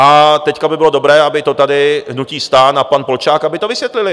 A teď by bylo dobré, aby to tady hnutí STAN a pan Polčák, aby to vysvětlili.